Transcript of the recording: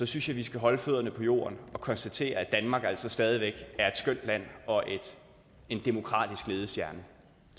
synes jeg vi skal holde fødderne på jorden og konstatere at danmark altså stadig væk er et skønt land og en demokratisk ledestjerne